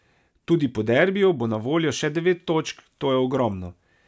Tudi po derbiju bo na voljo še devet točk, to je ogromno.